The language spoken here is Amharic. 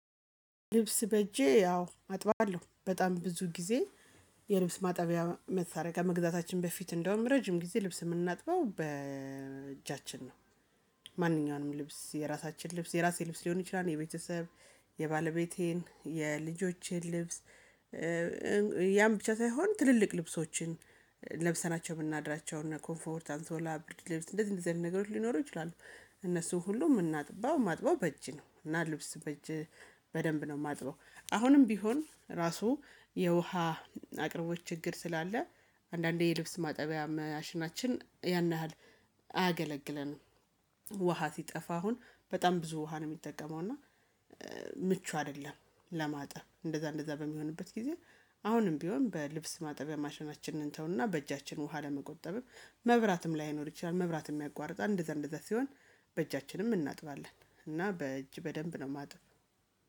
ልብስ በእጄ ያው አጥባለሁ በጣም ብዙ ጊዜ የልብስ ማጠቢያ መሳሪያ ከመግዛታችን በፊት እንደውም ረጅም ጊዜ ልብስ የምናጥበው በእጃችን ነው። ማንኛውንም ልብስ የራሳችን ልብስ የራሴ ልብስ ሊሆን ይችላል የቤተሰብ የባለቤቴን የልጆችን ልብስ። ያም ብቻ ሳይሆን ትልልቅ ልብሶችን ለብሰናቸው የምናድራቸውን እነ ኮምፎርት አንሶላ ብርድ ልብስ እንደዚህ እንደዚህ አይነት ነገሮች ሊኖሩ ይችላሉ። እነሱን ሁሉ የምናጥባው ማጥባው በእጅ ነው እና ልብስ በእጅ በደንብ ነው የማጥበው። አሁንም ቢሆን ራሱ የውሃ አቅርቦት ችግር ስላለ አንዳንዴ የልብስ ማጠቢያ ማሽናችን ያን ያህል አያገለግለንም። ውሃ ሲጠፋ አሁን በጣም ብዙ ውሃ ነው የሚጠቀመው እና ምቹ አይደለም። ለማጠብ እንደዛ እንደዛ በሚሆንበት ጊዜ አሁንም ቢሆን በልብስ ማጠቢያ ማሸናችንን እንተውና በእጃችን ውሃ ለመቆጠብም መብራትም ላይኖር ይችላል መብራትም ያቋርጣል እንደዛ እንደዛ ሲሆን በእጃችንም እናጥባለን። እና በእጅ በደንብ ነው የማጥበው